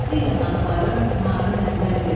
İsti yanaqların narı məndədir.